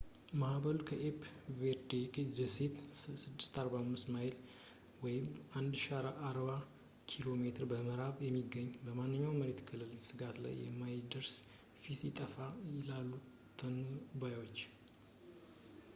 ማዕበሉ፣ ከኬፕ ቨርዴ ደሴቶች 645 ማይሎች 1040 ኪሜ ምዕራብ የሚገኘው፣ ማንኛውንም የመሬት ክልል ስጋት ላይ ከማሳደሩ በፊት ይጠፋል፣ ይላሉ ተንባዮች